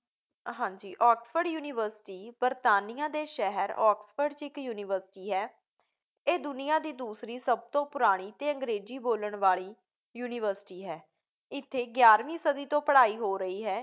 ਹਾਂ ਜੀ, Oxford University ਬਰਤਾਨੀਆ ਦੇ ਸ਼ਹਿਰ ਆਕਸਫ਼ੋਰਡ 'ਚ ਇੱਕ ਯੂਨੀਵਰਸਿਟੀ ਹੈ। ਇਹ ਦੁਨੀਆ ਦੀ ਦੂਸਰੀ ਸਭ ਤੋਂ ਪੁਰਾਣੀ ਅਤੇ ਅੰਗਰੇਜ਼ੀ ਬੋਲਣ ਵਾਲੀ ਯੂਨੀਵਰਸਿਟੀ ਹੈ। ਇੱਥੇ ਗਿਆਰਵੀਂ ਸਦੀ ਤੋਂ ਪੜ੍ਹਾਈ ਹੋ ਰਹੀ ਹੈ।